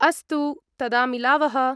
अस्तु, तदा मिलावः।